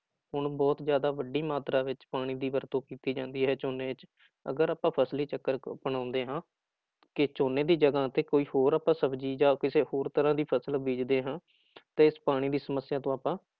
ਹੁਣ ਬਹੁਤ ਜ਼ਿਆਦਾ ਵੱਡੀ ਮਾਤਰਾ ਵਿੱਚ ਪਾਣੀ ਦੀ ਵਰਤੋਂ ਕੀਤੀ ਜਾਂਦੀ ਹੈ ਝੋਨੇ ਚ ਅਗਰ ਆਪਾਂ ਫ਼ਸਲੀ ਚੱਕਰ ਅਪਣਾਉਂਦੇ ਹਾਂ, ਕਿ ਝੋਨੇ ਦੀ ਜਗ੍ਹਾ ਤੇ ਕੋਈ ਹੋਰ ਆਪਾਂ ਸਬਜ਼ੀ ਜਾਂ ਕਿਸੇ ਹੋਰ ਤਰ੍ਹਾਂ ਦੀ ਫ਼ਸਲ ਬੀਜਦੇ ਹਾਂ ਤਾਂ ਇਸ ਪਾਣੀ ਦੀ ਸਮੱਸਿਆ ਤੋਂ ਆਪਾਂ